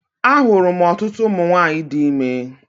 A hụrụ m ọtụtụ ụmụ nwaanyị di ime.